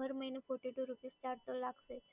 હર મહિને fourty two rupees charge લાગશે